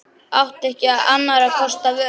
Átti ekki annarra kosta völ.